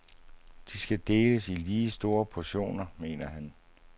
De skal deles i lige store portioner, mener han.